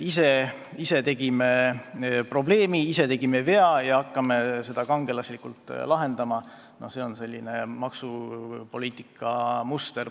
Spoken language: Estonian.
Ise tekitasime probleemi, ise tegime vea ja siis hakkame seda kangelaslikult parandama – see on praeguse koalitsiooni maksupoliitika muster.